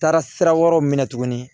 Taara sira wɛrɛw minɛ tuguni